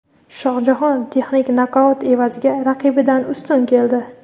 Shohjahon texnik nokaut evaziga raqibidan ustun keldi.